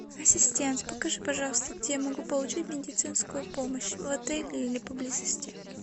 ассистент покажи пожалуйста где я могу получить медицинскую помощь в отеле или поблизости